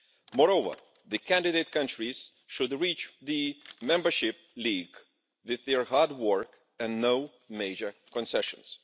Moreover, the candidate countries should reach the membership league with their hard work and no major concessions.